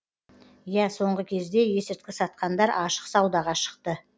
иә соңғы кезде есірткі сатқандар ашық саудаға шықты